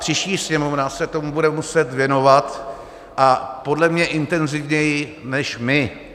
Příští Sněmovna se tomu bude muset věnovat a podle mě intenzivněji než my.